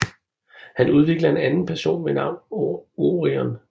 Han udvikler en anden person ved navn Orion